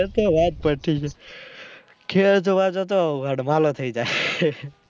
બસ તો વાત પતિ ગય ખેડા જોવા જતો વાલો થઇ જાય